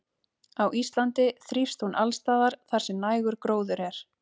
Á Íslandi þrífst hún alls staðar þar sem nægur gróður er.